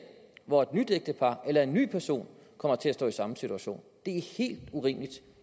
hvor et nyt ægtepar eller en ny person kommer til at stå i samme situation det er helt urimeligt